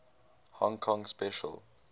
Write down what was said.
hong kong special